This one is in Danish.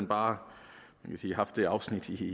bare haft det afsnit i